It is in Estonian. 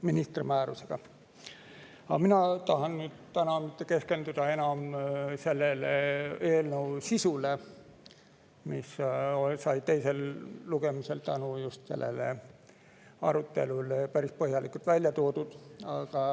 Mina ei taha täna enam keskenduda selle eelnõu sisule, mis sai teisel lugemisel just tänu sellele arutelule päris põhjalikult välja toodud.